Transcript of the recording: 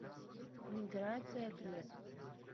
миграция глебовна